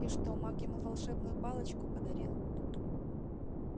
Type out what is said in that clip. и что маг ему волшебную палочку подарил